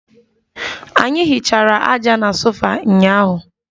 Anyi hichara aja na sofa ụnyahụ